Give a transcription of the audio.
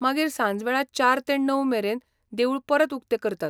मागीर सांजवेळा चार ते णव मेरेन देवूळ परत उक्तें करतात.